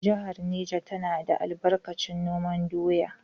Jihar Neja tana da albarkacin noman doya.